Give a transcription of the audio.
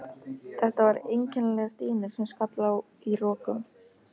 Þetta var einkennilegur dynur sem skall á í rokum.